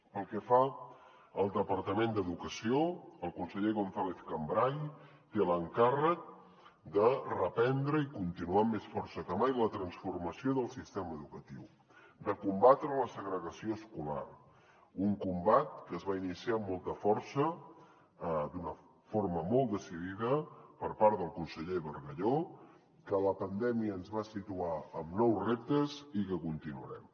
pel que fa al departament d’educació el conseller gonzález cambray té l’encàrrec de reprendre i continuar amb més força que mai la transformació del sistema educatiu de combatre la segregació escolar un combat que es va iniciar amb molta força d’una forma molt decidida per part del conseller bargalló que la pandèmia ens va situar amb nous reptes i que continuarem